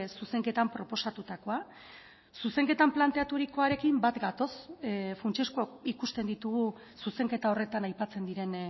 zuzenketan proposatutakoa zuzenketan planteaturikoarekin bat gatoz funtsezkoak ikusten ditugu zuzenketa horretan aipatzen diren